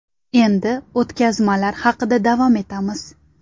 Endi o‘tkazmalar haqida davom etamiz.